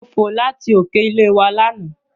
Mo fò láti òkè ilé wa lánàá.